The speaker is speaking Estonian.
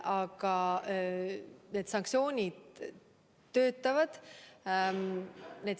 Aga sanktsioonid töötavad.